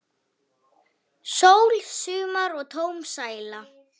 Sól, sumar og tóm sæla!